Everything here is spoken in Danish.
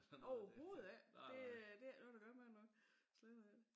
Overhovedet ikke det øh det ikke noget der gør mig noget slet ikke